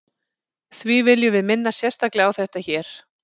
því viljum við minna sérstaklega á þetta hér